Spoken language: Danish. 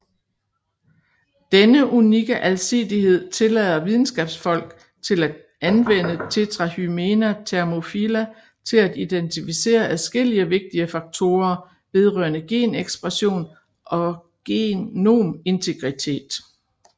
Denne unikke alsidighed tillader videnskabsfolk til at anvende Tetrahymena thermophila til at identificere adskillige vigtige faktorer vedrørende genekspression og genomintegritet